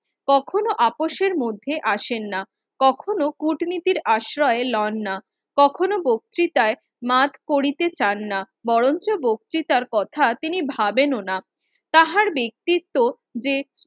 কখনো আপোষ এর মধ্যে আসেন না, কখনো কূটনীতির আশ্রয় লন না, কখনো বক্তিতায় মাফ করিতে চান না বরংচো বক্তিতার কথা তিনি ভাবেন ও না, তাহার ব্যাক্তিত্ব যে